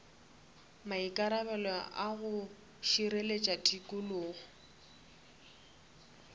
maikarabelo a go šireletša tikologo